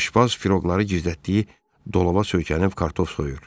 Aşpaz firoqları gizlətdiyi dolaba söykənib kartof soyur.